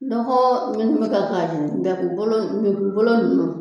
Nɔgɔ minnu bɛ kɛ k'a jeni datubolo npegunbolo ninnu